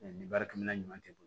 nin baarakɛminɛn ɲuman tɛ